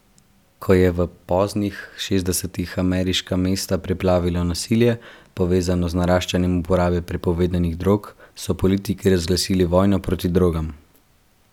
Ko je v poznih šestdesetih ameriška mesta preplavilo nasilje, povezano z naraščanjem uporabe prepovedanih drog, so politiki razglasili vojno proti drogam.